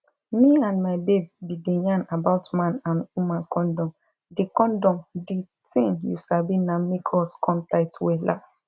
me and my babe bin dey yarn about man and woman condom di condom di tin you sabi na make us come tight wella